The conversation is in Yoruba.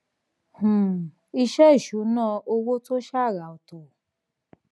um iṣẹ ìṣúnná owó tó ṣàrà ọtọ